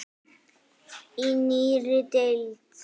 Í nýrri deild.